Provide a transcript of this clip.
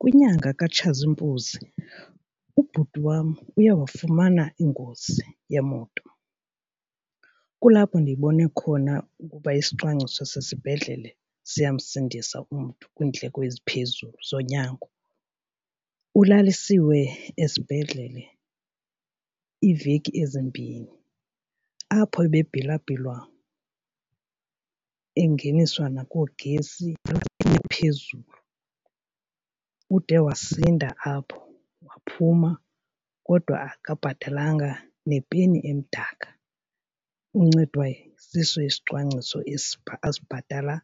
Kwinyanga kaTshazimpuzi ubhuti wam uye wafumana ingozi yemoto. Kulapho ndiyibone khona ukuba isicwangciso sesibhedlele siyamsindisa umntu kwiindleko eziphezulu zonyango. Ulalisiwe esibhedlele iiveki ezimbini apho ebebhilwabhilwa engeniswa nakoogesi ephezulu. Ude wasinda apho, waphuma kodwa akabhatalanga nepeni emdaka. Uncedwa siso isicwangciso esi asibhatala